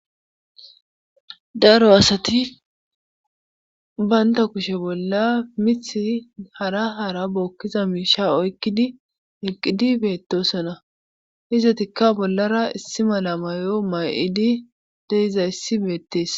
Daro asati bantta kushe bolla mithi hara hara bookkiza miishsha oykkidi eqqidi beettoosona izetikka bollara issi mala mayo may7idi de7izayssi beettes.